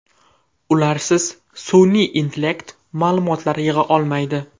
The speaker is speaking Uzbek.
Ularsiz sun’iy intellekt ma’lumotlar yig‘a olmaydi.